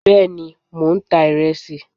bẹẹni mọ n tá iresí